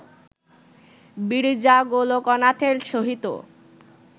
বিরজা গোলোকনাথের সহিত